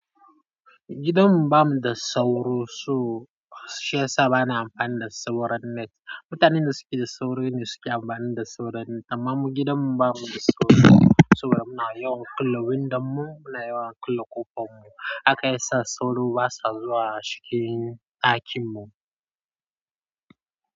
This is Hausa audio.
Gidanmu ba mu da sauro so shi ya sa ba na amfani da sauro net. Mutanen da suke da sauro ne suke amfani da sauro net amma mu gidanmu ba mu da sauro saboda muna yawan kulle windon mu, muna yawan kulle ƙofar mu. Haka ya sa sauro basa zuwa cikin ɗakin mu.